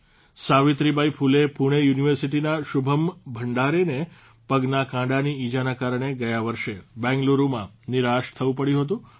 સાવિત્રીબાઇ ફુલે પૂણે યુનિવર્સિટીના શુભમ ભંડારેને પગના કાંડાની ઇજાના કારણે ગયા વર્ષે બેંગ્લુરૂમાં નિરાશ થવું પડ્યું હતું